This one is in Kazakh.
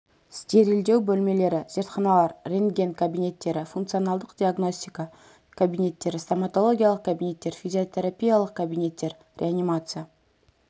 стерильдеу бөлмелері зертханалар рентген кабинеттері функционалдық диагностика кабинеттері стоматологиялық кабинеттер физиотерапиялық кабинеттер реанимация